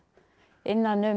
innan um